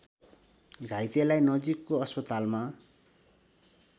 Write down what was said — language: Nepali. घाइतेलाई नजिकको अस्पतालमा